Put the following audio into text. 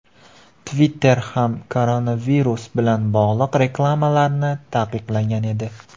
Twitter ham koronavirus bilan bog‘liq reklamalarni taqiqlagan edi .